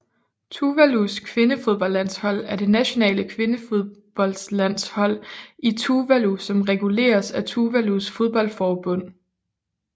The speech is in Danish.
Tuvalus kvindefodboldlandshold er det nationale kvindefodboldlandshold i Tuvalu som reguleres af Tuvalus fodboldforbund